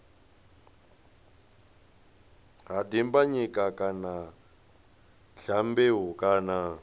ha dimbanyika kana dyambeu kana